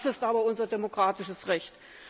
Das ist aber unser demokratisches Recht!